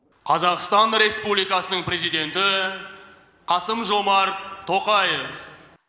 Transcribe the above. қазақстан республикасының президенті қасым жомарт тоқаев